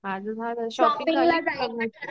माझं झालं